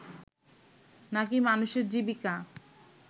না কি মানুষের জীবিকা